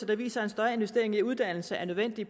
der viser at en større investering i uddannelse er nødvendig